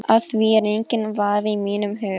Á því er enginn vafi í mínum huga.